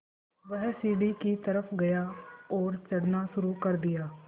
वह सीढ़ी की तरफ़ गया और चढ़ना शुरू कर दिया